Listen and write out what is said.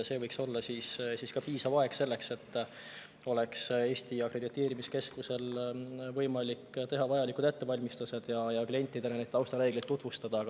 See võiks olla piisav aeg selleks, et Eesti akrediteerimiskeskusel on võimalik teha vajalikud ettevalmistused ja klientidele neid taustareegleid tutvustada.